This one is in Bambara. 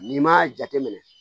N'i m'a jate minɛ